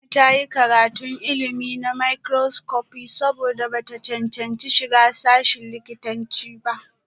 Yumnat ta yi karatun ilimi na makroscopi saboda ba ta cancanci shiga sashin likitanci ba